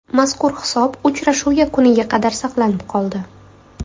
Mazkur hisob uchrashuv yakuniga qadar saqlanib qoldi.